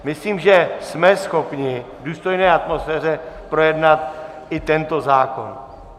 Myslím, že jsme schopni v důstojné atmosféře projednat i tento zákon.